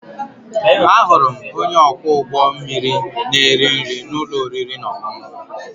Ahụrụ m onye ọkwọ ụgbọ mmiri na-eri nri na ụlọ oriri na ọṅụṅụ.